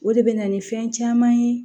O de bɛ na ni fɛn caman ye